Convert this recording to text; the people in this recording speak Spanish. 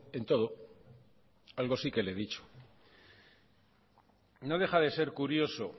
en todo algo sí que le he dicho no deja de ser curioso